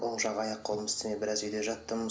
оң жақ аяқ қолым істемей біраз үйде жаттым